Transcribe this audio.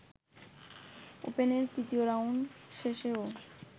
ওপেনের তৃতীয় রাউন্ড শেষেও